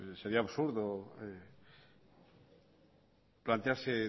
sería absurdo plantearse